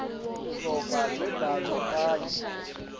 luhlobo lwembhalo kanye